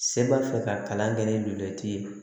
Se b'a fɛ ka kalan kɛ ni luju ye